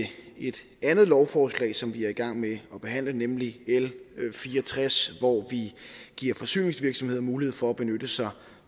et andet lovforslag som vi er i gang med at behandle nemlig l fire og tres hvor vi giver forsyningsvirksomheder mulighed for at benytte sig